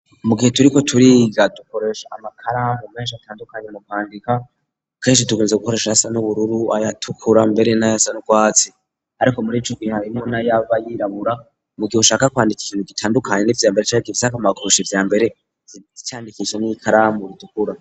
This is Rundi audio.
mu gihe turiko turiga dukoresha amakaramu meshi atandukanye mu kwandika keshi tukunze gukoresha ayasa n'ubururu ayatukura mbere nayasa n'ukwatsi ariko murico gihe harimwo nayaba yirabura mu gihe ushaka kwandika ikintu gitandukanye nica mbere canke gifise akamaro kurusha ivyambere uca uvyandikisha n'ibikaramu itukura.